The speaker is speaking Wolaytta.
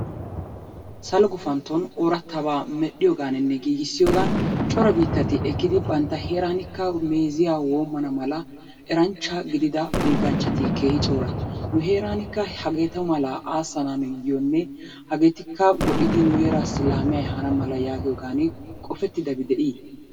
Salo gupanttonni ortaba merhiyoganinne gigisiyoganni coraa bitatti ekiddi banttaa heraanikka meziyaa womanna mala eranchaa gididaa pilganchatti kehi choraa, nu heranika hagetu mala asanayonne hagetti ha go'idfi nu herassi lamiya ehanna mala yagiyogani kopettidabbi de'i?